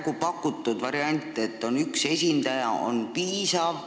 Kas pakutud variant, et seal on üks meie esindaja, on piisav?